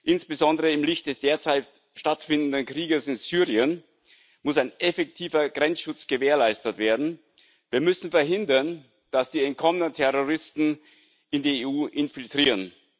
Insbesondere im Licht des derzeit stattfindenden Krieges in Syrien muss ein effektiver Grenzschutz gewährleistet werden. Wir müssen verhindern, dass die entkommenen Terroristen die EU infiltrieren.